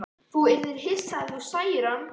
Þú yrðir hissa ef þú sæir hana.